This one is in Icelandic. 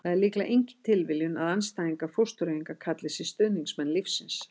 það er líklega engin tilviljun að andstæðingar fóstureyðinga kalli sig stuðningsmenn lífsins